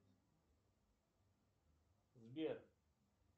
сбер